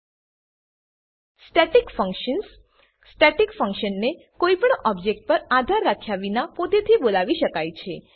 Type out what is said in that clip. static functions static ફંક્શનો static ફંક્શનને કોઈપણ ઓબજેક્ટ પર આધાર રાખ્યા વિના પોતેથી બોલાવી શકાય છે